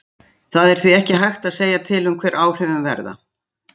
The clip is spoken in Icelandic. Það er því ekki hægt að segja til um hver áhrifin verða.